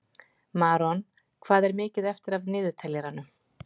Maron, hvað er mikið eftir af niðurteljaranum?